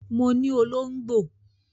Mo ní olóngbò